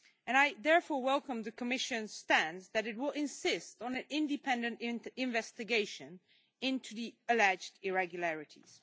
I therefore welcome the Commission's stance that it will insist on an independent investigation into the alleged irregularities.